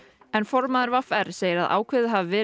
en formaður v r segir að ákveðið hafi verið